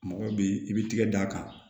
Mɔgɔ bi i b'i tigɛ d'a kan